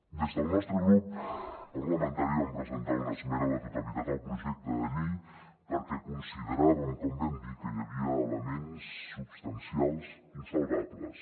des del nostre grup parlamentari vam presentar una esmena a la totalitat al projecte de llei perquè consideràvem com vam dir que hi havia elements substancials insalvables